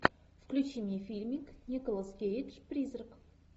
включи мне фильмик николас кейдж призрак